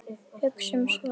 Hugsum svart.